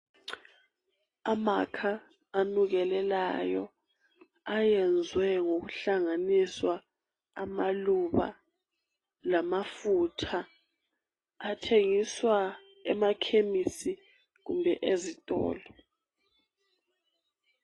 Amakha anukelelayo ayenzwe ngokuhlanganisa amaluba lamafutha athengiswa emakhemisi kumbe ezitolo.